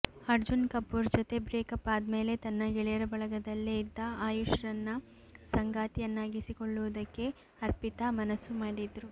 ಅರ್ಜುನ್ ಕಪೂರ್ ಜೊತೆ ಬ್ರೇಕಪ್ ಆದ್ಮೇಲೆ ತನ್ನ ಗೆಳೆಯರ ಬಳಗದಲ್ಲೇ ಇದ್ದ ಆಯುಷ್ ರನ್ನ ಸಂಗಾತಿಯಾನ್ನಾಗಿಸಿಕೊಳ್ಳುವುದಕ್ಕೆ ಅರ್ಪಿತಾ ಮನಸ್ಸು ಮಾಡಿದ್ರು